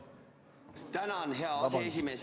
Tänan, hea aseesimees!